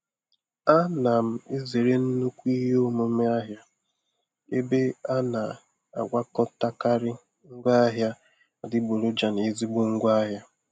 A na m ezere nnukwu ihe omume ahịa ebe a na-agwakọtakari ngwa ahịa adịgboroja na ezigbo ngwaahịa.